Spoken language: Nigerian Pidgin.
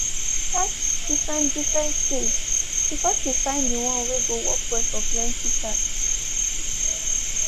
she been test different different cage before she find the one wey go work well for plenty cats.